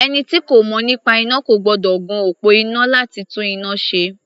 Ẹni tí kò mọ̀ nípa iná kò gbọ́dọ̀ gun òpó iná láti tún iná ṣe.